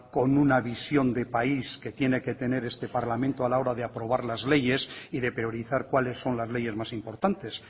con una visión de país que tiene que tener este parlamento a la hora de aprobar las leyes y de priorizar cuáles son las leyes más importantes